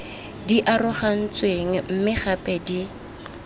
di arogantsweng mme gape di